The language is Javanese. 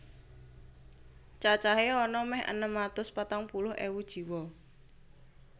Cacahé ana mèh enem atus patang puluh ewu jiwa